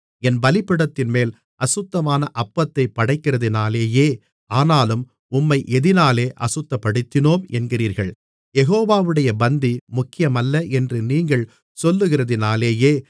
என் பீடத்தின்மேல் அசுத்தமான அப்பத்தைப் படைக்கிறதினாலேயே ஆனாலும் உம்மை எதினாலே அசுத்தப்படுத்தினோம் என்கிறீர்கள் யெகோவாவுடைய பந்தி முக்கியமல்ல என்று நீங்கள் சொல்லுகிறதினாலேயே